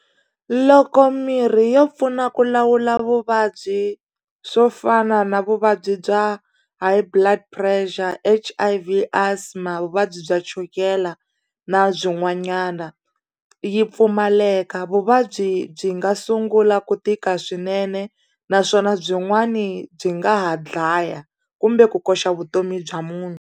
Loko mirhi yo pfuna ku lawula vuvabyi swo fana na vuvabyi bya high blood pressure H_I_V asthma vuvabyi bya chukela na byin'wanyana yi pfumaleka vuvabyi byi nga sungula ku tika swinene naswona byin'wani byi nga ha dlaya kumbe ku koxa vutomi bya munhu.